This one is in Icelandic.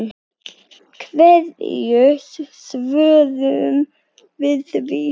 Hverju svörum við því?